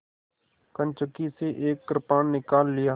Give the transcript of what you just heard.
कंचुकी से एक कृपाण निकाल लिया